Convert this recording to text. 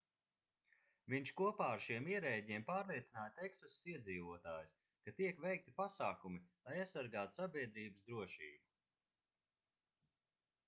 viņš kopā ar šiem ierēdņiem pārliecināja teksasas iedzīvotājus ka tiek veikti pasākumi lai aizsargātu sabiedrības drošību